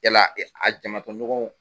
Cɛ la a jama tɔɲɔgɔnw